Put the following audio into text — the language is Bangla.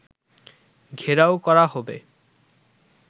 ঘেরাও করা হবে